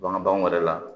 Bagan baganw yɛrɛ la